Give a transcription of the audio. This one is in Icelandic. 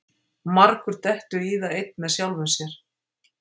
Margur dettur í það einn með sjálfum sér.